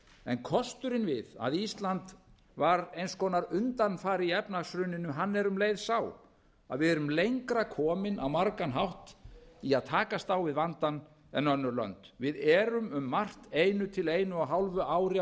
en kosturinn við að ísland var eins konar undanfari í efnahagshruninu hann er um leið sá að við erum lengra komin á margan hátt í að takast á við vandann en önnur lönd við erum um margt einu til einu og hálfu ári